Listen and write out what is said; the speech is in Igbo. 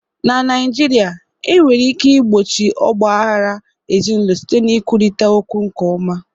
Na Naịjirịa, e nwere ike igbochi ọgba aghara ezinụlọ site n'ikwurịta okwu nke ọma.